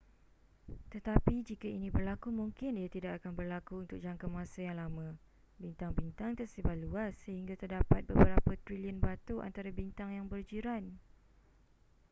tetapi jika ini berlaku mungkin ia tidak akan berlaku untuk jangka masa yang lama bintang-bintang tersebar luas sehingga terdapat beberapa trilion batu antara bintang yang berjiran